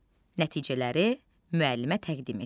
Nəticələri müəllimə təqdim et.